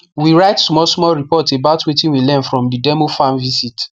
we write smallsmall report about wetin we learn from the demo farm visit